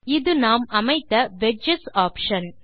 இது நாம் அமைத்த வெட்ஜஸ் ஆப்ஷன்